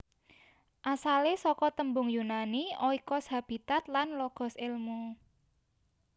Asalé saka tembung Yunani oikos habitat lan logos èlmu